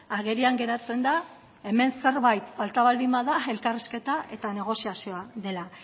agerian geratzen da hemen zerbait falta baldin bada elkarrizketa eta negoziazioa dela